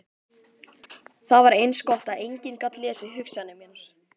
Það var eins gott að enginn gat lesið hugsanir mínar.